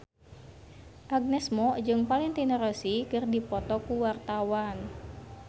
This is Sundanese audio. Agnes Mo jeung Valentino Rossi keur dipoto ku wartawan